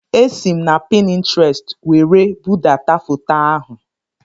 Esi m na Pintrestị were budata foto ahụ